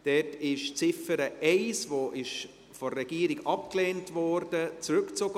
Dort ist die Ziffer 1, die von der Regierung abgelehnt wurde, zurückgezogen.